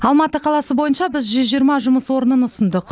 алматы қаласы бойынша біз жүз жиырма жұмыс орнынын ұсындық